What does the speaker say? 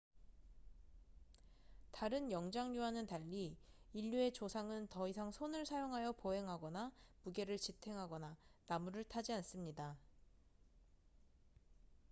다른 영장류와는 달리 인류의 조상은 더 이상 손을 사용하여 보행하거나 무게를 지탱하거나 나무를 타지 않습니다